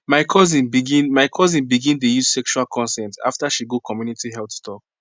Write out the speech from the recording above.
my cousin begin my cousin begin dey use sexual consent after she go community health talk